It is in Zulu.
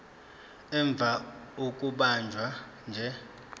ivame ukubanjwa nje